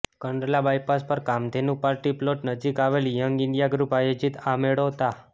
Kandla bypass પર Kamdhenu party plot નજીક આવેલ યંગ ઇન્ડિયા ગ્રુપ આયોજિત આ મેળો તા